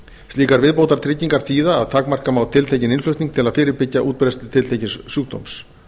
slíkar viðbótartryggingar þýða að takmarka má tiltekinn innflutning til að fyrirbyggja útbreiðslu tiltekins sjúkdóms